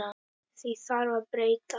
Því þarf að breyta!